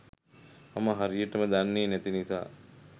මම හරියටම දන්නේ නැති නිසා.